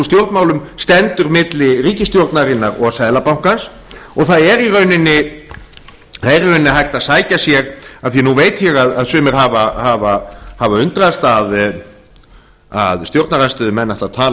stjórnmálum stendur milli ríkisstjórnarinnar og seðlabankans og það er í rauninni hægt að sækja sér af því að nú veit ég að sumir hafa undrast að stjórnarandstöðumenn ætli að tala